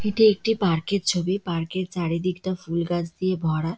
এইটি একটি পার্ক এর ছবি। পার্ক -এর চারিদিকটা ফুল গাছ দিয়ে ভরা।